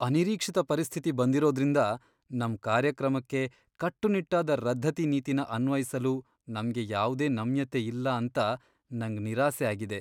ಅನಿರೀಕ್ಷಿತ ಪರಿಸ್ಥಿತಿ ಬಂದಿರೋದ್ರಿಂದ ನಮ್ ಕಾರ್ಯಕ್ರಮಕ್ಕೆ ಕಟ್ಟುನಿಟ್ಟಾದ ರದ್ದತಿ ನೀತಿನ ಅನ್ವಯಿಸಲು ನಮ್ಗೆ ಯಾವ್ದೇ ನಮ್ಯತೆ ಇಲ್ಲ ಅಂತ ನಂಗ್ ನಿರಾಸೆ ಆಗಿದೆ.